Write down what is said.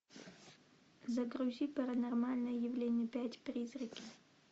загрузи паранормальные явления пять призраки